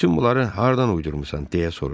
Bütün bunları hardan uydurmusan deyə soruşdu.